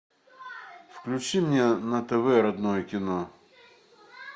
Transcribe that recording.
включи мне на тв родное кино